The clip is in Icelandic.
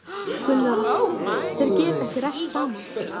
Gunnar Atli: Þeir geta ekki rætt saman?